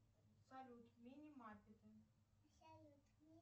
салют минимаркеты